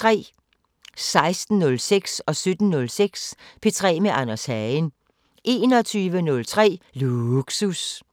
16:06: P3 med Anders Hagen 17:06: P3 med Anders Hagen 21:03: Lågsus